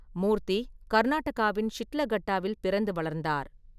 மூர்த்தி கர்நாடகாவின் ஷிட்லகட்டாவில் பிறந்து வளர்ந்தார்.